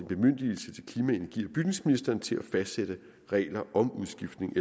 bemyndigelse til klima energi og bygningsministeren til at fastsætte regler om udskiftning